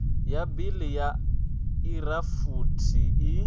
ya bili ya irafuthi i